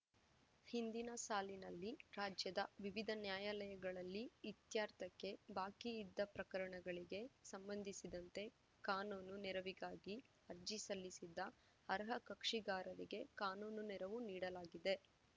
ಹಿಂದಿನ ಸಾಲಿನಲ್ಲಿ ರಾಜ್ಯದ ವಿವಿಧ ನ್ಯಾಯಾಲಯಗಳಲ್ಲಿ ಇತ್ಯರ್ಥಕ್ಕೆ ಬಾಕಿ ಇದ್ದ ಪ್ರಕರಣಗಳಿಗೆ ಸಂಬಂಧಿಸಿದಂತೆ ಕಾನೂನು ನೆರವಿಗಾಗಿ ಅರ್ಜಿ ಸಲ್ಲಿಸಿದ್ದ ಅರ್ಹ ಕಕ್ಷಿಗಾರರಿಗೆ ಕಾನೂನು ನೆರವು ನೀಡಲಾಗಿದೆ